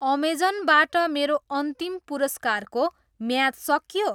Amazon बाट मेरो अन्तिम पुरस्कारको म्याद सकियो?